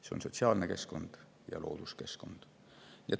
Need on sotsiaalne keskkond ja looduskeskkond.